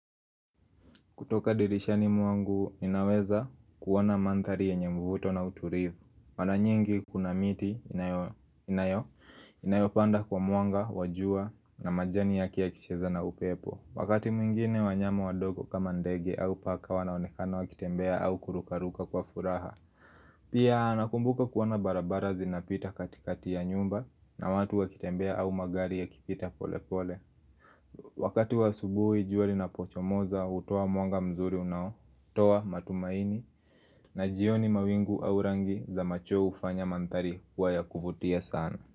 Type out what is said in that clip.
Kutoka dirishani mwangu, inaweza kuwona manthari yenye mvuto na uturivu. Mara nyingi, kuna miti inayopanda kwa mwanga, wajua na majani yake ya kicheza na upepo. Wakati mwingine wanyama wadogo kama ndege au paka wanaonekana wakitembea au kurukaruka kwa furaha. Pia nakumbuka kuwona barabara zina pita katikati ya nyumba na watu wakitembea au magari ya kipita pole pole. Wakati wa subuhi jua linapocho moza hutuwa mwanga mzuri unao, tuwa matumaini na jioni mawingu au rangi za machweo hufanya mantari waya kufutia sana.